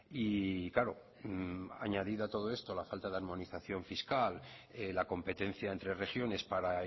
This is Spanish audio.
y claro añadido a todo esto la falta de armonización fiscal la competencia entre regiones para